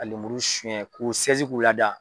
Ka lemuru sɔnɲɛ k'u k'u lada.